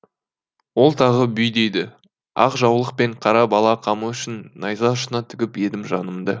ол тағы бүй дейді ақ жаулық пен қара бала қамы үшін найза ұшына тігіп едім жанымды